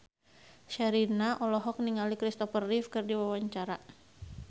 Sherina olohok ningali Kristopher Reeve keur diwawancara